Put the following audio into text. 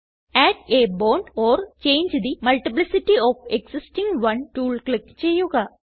add a bond or change the multiplicity of existing one tool click ചെയ്യുക